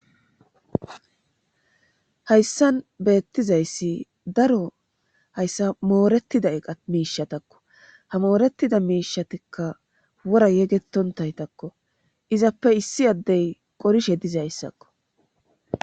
hayssan beettizayssi daro hayssa mooretida eqa miishatakko ha moorettida miishatikka wora yegetontaytakko izappe issi addey qorishe dizayssakko